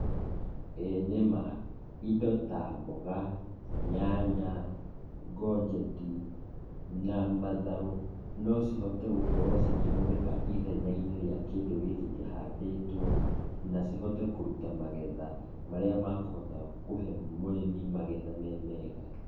Ĩĩ nĩma, indo ta mboga, nyanya, gonjeti na matharũ, nocihote gũkorũo cikĩhũthĩka ithenya-inĩ rĩa kĩndũ gĩkĩ kĩhandĩtũo, na cihote kũruta magetha, marĩa mekũhota kũhe mũrĩmi magetha me mega.